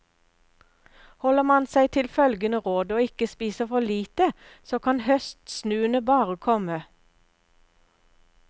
Holder man seg til følgende råd, og ikke spiser for lite, så kan høstsnuene bare komme.